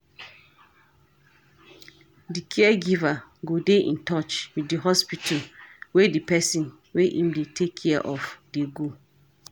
Di caregiver go dey in touch with di hospital wey di person wey im dey take care of dey go